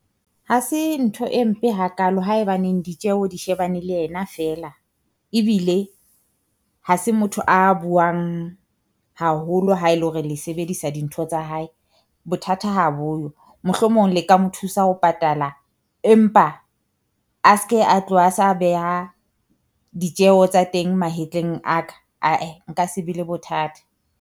Ha se ntho e mpe hakaalo haebaneng ditjeho di shebane le ena feela, ebile ha se motho a buang haholo ha e le hore le sebedisa dintho tsa hae. Bothata ha boyo mohlomong le ka mo thusa ho patala, empa a se ke a tloha sa beha ditjeho tsa teng mahetleng a ka ah-eh, nka se be le bothata.